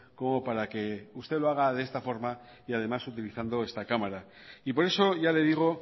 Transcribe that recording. como para que usted lo haga de esta forma y además utilizando esta cámara y por eso ya le digo